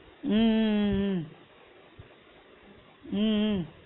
உம் உம் உம் உம் உம் உம்